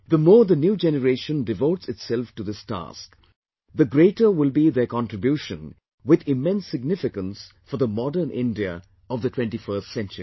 The more the new generation devotes itself to this task, the greater will be their contribution with immense significance for the modern India of the 21st century